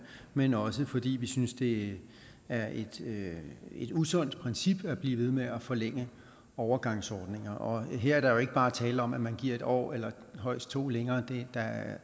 men også fordi vi synes det er et usundt princip at blive ved med at forlænge overgangsordninger her er der jo ikke bare tale om at man giver en år eller højst to år længere der er